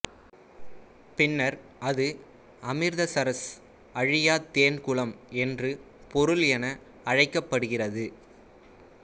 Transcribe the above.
பின்னர் அது அமிர்தசரஸ் அழியா தேன் குளம் என்று பொருள் என அழைக்கப்படுகிறது